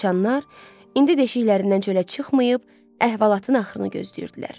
sıçaanlar indi deşiklərindən çölə çıxmayıb əhvalatın axırını gözləyirdilər.